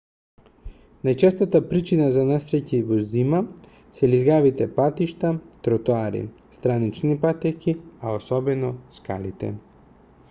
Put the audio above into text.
најчестата причина за несреќи во зима се лизгавите патишта тротоари странични патеки а осебно скалите